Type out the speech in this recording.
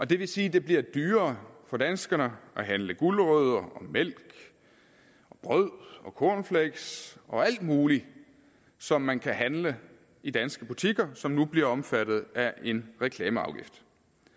det vil sige at det bliver dyrere for danskerne at handle gulerødder og mælk brød og cornflakes og alt muligt som man kan handle i danske butikker som nu bliver omfattet af en reklameafgift